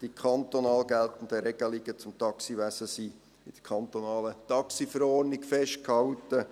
Die kantonal geltenden Regelungen zum Taxiwesen sind in der kantonalen Taxiverordnung festgehalten.